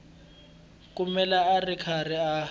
kumeka a ri karhi a